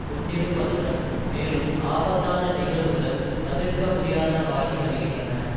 கொண்டிருப்பதுடன் மேலும் ஆபத்தான நிகழ்வுகள் தவிர்க்க முடியாதனவாகி வருகின்றன